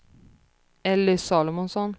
Elly Salomonsson